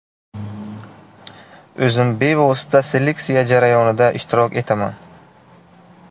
O‘zim bevosita seleksiya jarayonida ishtirok etaman.